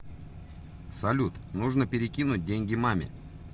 салют нужно перекинуть деньги маме